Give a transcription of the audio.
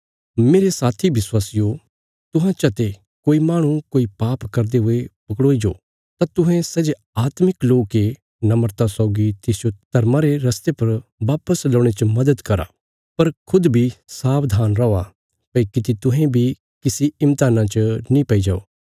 मेरे साथी विश्वासियो तुहां चते जे कोई माहणु कोई पाप करदे हुये पकड़ोई जाओ तां तुहें सै जे आत्मिक लोक ये नम्रता सौगी तिसजो धर्मा रे रस्ते पर बापस लौणे च मदद करा पर खुद बी सावधान रौआ भई किति तुहें बी किसी इम्तेहाना च नीं पैई जाओ